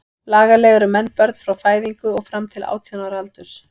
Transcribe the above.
Lagalega eru menn börn frá fæðingu og fram til átján ára aldurs.